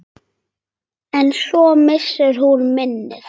En svo missir hún minnið.